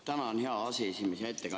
Tänan, hea aseesimees!